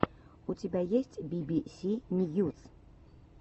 у тебя есть би би си ньюс